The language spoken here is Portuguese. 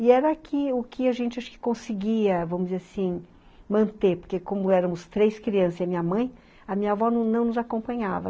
E era o que o que a gente conseguia vamos dizer assim manter, porque como éramos três crianças e a minha mãe, a minha avó não nos acompanhava.